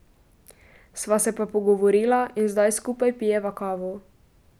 Sva se pa pogovorila in zdaj skupaj pijeva kavo.